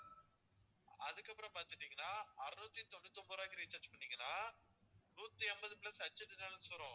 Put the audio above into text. அதுக்கப்பறம் பாத்துக்கிட்டீங்கன்னா அறுநூத்தி தொண்ணூத்தி ஒன்பது ரூபாய்க்கு recharge பண்ணீங்கன்னா நூத்தி ஐம்பது plus HD channels வரும்